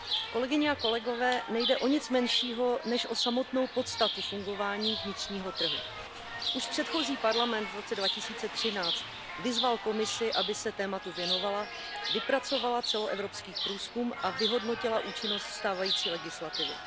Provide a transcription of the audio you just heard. Kolegyně a kolegové, nejde o nic menšího, než o samotnou podstatu fungování vnitřního trhu. Už předchozí Parlament v roce 2013 vyzval Komisi, aby se tématu věnovala, vypracovala celoevropský průzkum a vyhodnotila účinnost stávající legislativy.